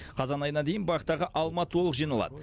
қазан айына дейін бақтағы алма толық жиналады